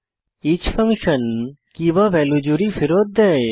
each function key value জুড়ি ফেরত দেয়